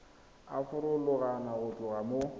a farologana go tloga mo